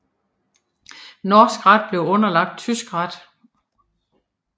Norsk ret blev underlagt tysk ret